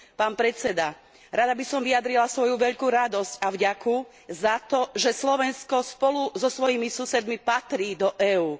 Pán predseda, rada by som vyjadrila svoju veľkú radosť a vďaku za to, že Slovensko spolu so svojimi susedmi patrí do EÚ.